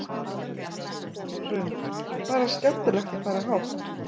Hrund: Bara skemmtilegt að fara hátt?